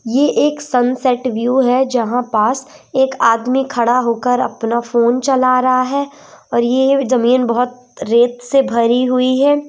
ये एक sunset view है जहां पास एक आदमी खड़ा होकर अपना फोन चला रहा है और ये जमीन बहुत रेत से भरी हुई है।